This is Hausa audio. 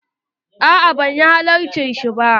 A'a ban halarci shi ba.